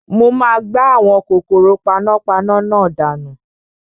Mo máa gbá àwọn kòkòrò panápaná náà dànù